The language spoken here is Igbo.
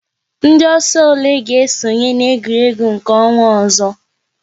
Ndị ọsọ ole ga esonye na-egwuregwu nke ọnwa ọzọ?